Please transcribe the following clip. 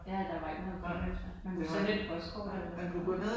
Ja. Ja der var ikke noget grønt lys der. Man kunne sende et postkort eller et eller andet